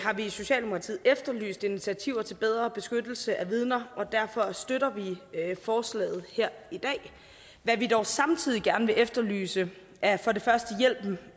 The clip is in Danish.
vi i socialdemokratiet efterlyst initiativer til bedre beskyttelse af vidner og derfor støtter vi forslaget her i dag hvad vi dog samtidig gerne vil efterlyse er for det første hjælpen